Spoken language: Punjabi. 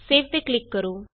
ਸੇਵ ਤੇ ਕਲਿਕ ਕਰੋ